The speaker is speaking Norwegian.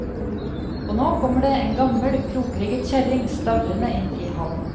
Og nå kommer det en gammel, krokrygget kjerring stavrende inn i hallen.